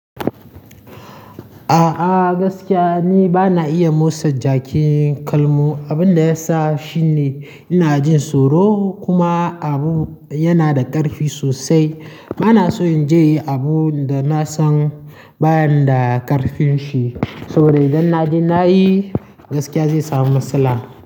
A'a gaskiya ni bana iya motsa jakin kalmu, abinda yasa shine ina jin tsoro kuma abu yana da ƙarfi sosai. Bana so in je yi abun da na san bani da ƙarfin shi, sabo da idan na je nayi gaskiya zai samu matsala.